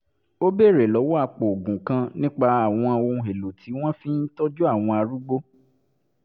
ó béèrè lọ́wọ́ apòògùn kan nípa àwọn ohun-èlò tí wọ́n fi ń tọ́jú àwọn arúgbó